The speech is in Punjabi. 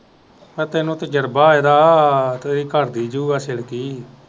ਤੇ ਤੈਨੂੰ ਤਜਰਬਾ ਏਹਦਾ